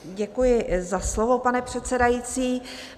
Děkuji za slovo, pane předsedající.